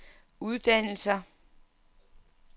uddannelser